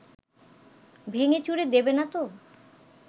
ভেঙেচুরে দেবে না তো